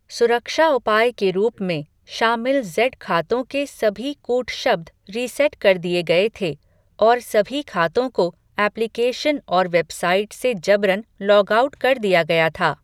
सुरक्षा उपाय के रूप में, शामिल ज़ेड खातों के सभी कूटशब्द रीसेट कर दिए गए थे, और सभी खातों को एप्लिकेशन और वेबसाइट से जबरन लॉग आउट कर दिया गया था।